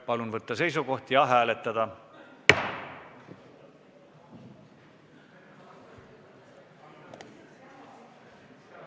Palun võtta seisukoht ja hääletada!